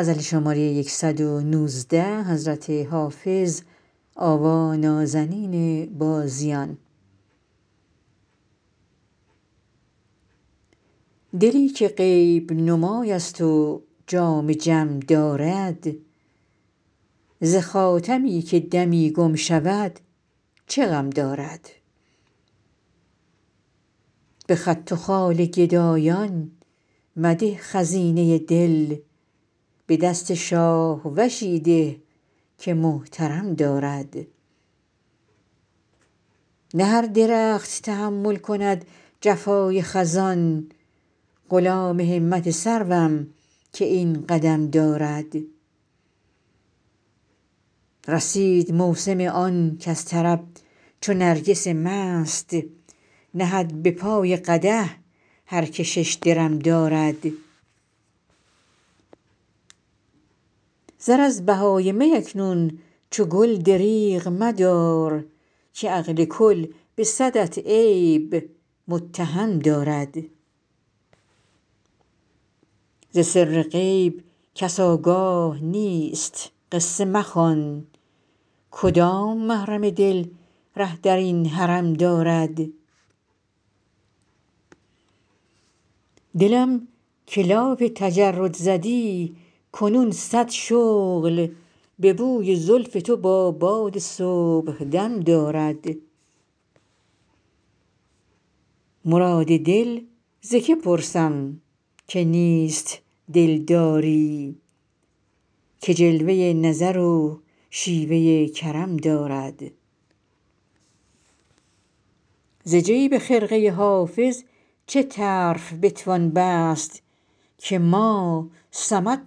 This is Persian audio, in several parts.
دلی که غیب نمای است و جام جم دارد ز خاتمی که دمی گم شود چه غم دارد به خط و خال گدایان مده خزینه دل به دست شاهوشی ده که محترم دارد نه هر درخت تحمل کند جفای خزان غلام همت سروم که این قدم دارد رسید موسم آن کز طرب چو نرگس مست نهد به پای قدح هر که شش درم دارد زر از بهای می اکنون چو گل دریغ مدار که عقل کل به صدت عیب متهم دارد ز سر غیب کس آگاه نیست قصه مخوان کدام محرم دل ره در این حرم دارد دلم که لاف تجرد زدی کنون صد شغل به بوی زلف تو با باد صبحدم دارد مراد دل ز که پرسم که نیست دلداری که جلوه نظر و شیوه کرم دارد ز جیب خرقه حافظ چه طرف بتوان بست که ما صمد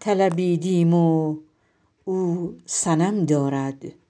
طلبیدیم و او صنم دارد